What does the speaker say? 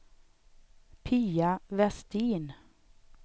Pia Vestin